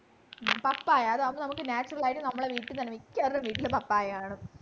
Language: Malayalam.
പപ്പായ അതാണ് നമുക്ക് natural ആയിട്ടു നമ്മുടെ വീട്ടിൽ തന്നെ മിക്ക ആളുടെയും വീട്ടിലു പപ്പായ കാണും